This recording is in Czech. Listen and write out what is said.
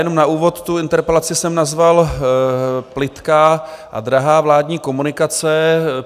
Jenom na úvod - tu interpelaci jsem nazval Plytká a drahá vládní komunikace.